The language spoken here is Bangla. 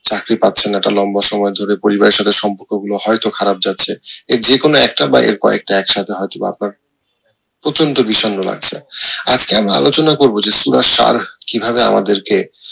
চাকরি পাচ্ছেন না একটা লম্বা সময় ধরে পরিবারের সাথে সম্পর্ক গুলো হয়তো খারাপ যাচ্ছে এর যেকোনো একটা বা এর কয়েকটা একসাথে হয়তো বা আপনার প্রচন্ড বিষন্ন লাগছে আজকে আমি আলোচনা করব যে কিভাবে আমাদের কে